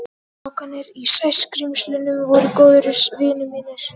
Strákarnir í Sæskrímslunum voru góðir vinir mínir.